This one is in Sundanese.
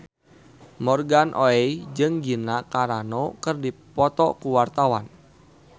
Morgan Oey jeung Gina Carano keur dipoto ku wartawan